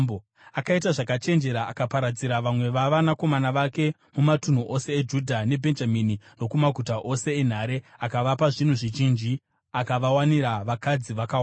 Akaita zvakachenjera akaparadzira vamwe vavanakomana vake mumatunhu ose eJudha neBhenjamini nokumaguta ose enhare. Akavapa zvinhu zvizhinji akavawanira vakadzi vakawanda.